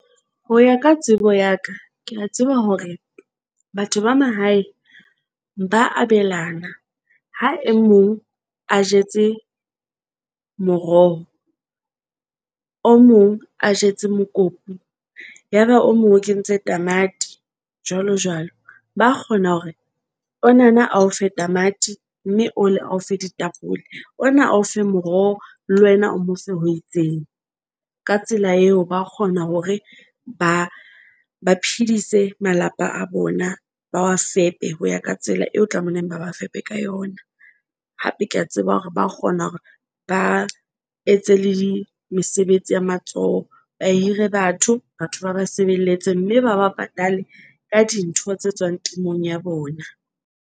Ho ya ka tsebo ya ka, ke a tseba hore batho ba mahae ba abelana ha e mong a jetse moroho o mong a jetse mokopu. Yaba o mong o kentse tamati jwalo jwalo. Ba kgona hore onana ao fe tamati mme ole ao fe ditapole ona ao fe moroho le wena o mo fe ho itseng. Ka tsela eo, ba kgona hore ba phedise malapa a bona, ba wa fepe ho ya ka tsela eo tlamehileng ba ba fepe ka yona. Hape ke a tseba hore ba kgona hore ba etse le mesebetsi ya matsoho. Ba hire batho, batho ba ba sebeletse, mme ba ba patale ka dintho tse tswang temong ya bona.